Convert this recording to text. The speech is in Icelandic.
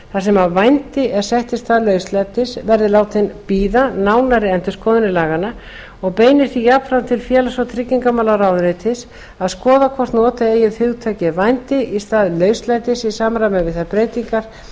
þar sem vændi er sett í stað lauslætis verði látin bíða nánari endurskoðunar laganna og beinir því jafnframt til félags og tryggingamálaráðuneytis að skoða hvort nota eigi hugtakið vændi í stað lauslætis í samræmi við þær breytingar